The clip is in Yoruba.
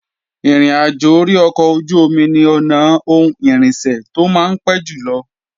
Ìrìnàjò orí ọkọ̀ ojú-omi ni ọ̀nà ohun irinṣẹ́ tó máa ń pé jùlọ